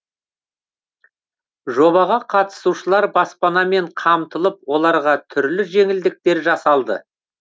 жобаға қатысушылар баспанамен қамтылып оларға түрлі жеңілдіктер жасалды